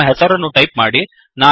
ನಿಮ್ಮ ಹೆಸರನ್ನು ಟೈಪ್ ಮಾಡಿರಿ